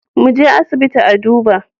Muje asibiti a duba